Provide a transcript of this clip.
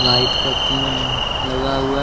Light का तीन लगा हुआ है।